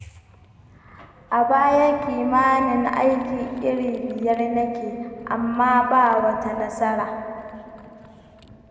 A baya kimanin aiki iri biyar nake, amma ba wata nasara.